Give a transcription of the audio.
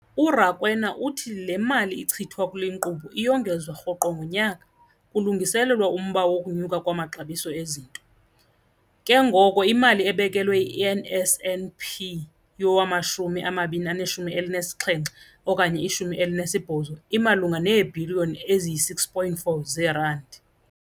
URakwena uthi le mali ichithwa kule nkqubo iyongezwa rhoqo ngonyaka kulungiselelwa umba wokunyuka kwamaxabiso ezinto, ke ngoko imali ebekelwe i-NSNP yowama-2017 okanye i-18 imalunga neebhiliyoni eziyi-6.4 zeerandi.